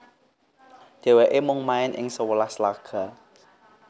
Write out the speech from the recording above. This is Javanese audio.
Dhèwèké mung main ing sewelas laga